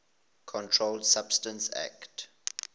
controlled substances acte